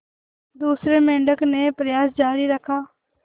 दूसरे मेंढक ने प्रयास जारी रखा